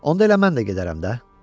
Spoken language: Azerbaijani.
Onda elə mən də gedərəm də.